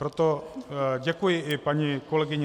Proto děkuji i paní kolegyni